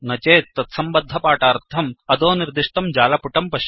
न चेत् तत्सम्बद्धपाठार्थम् अधोनिर्दिष्टं जालपुटं पश्यन्तु